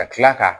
Ka tila ka